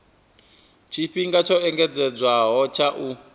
tshifhinga tsho engedzedzwaho tsha u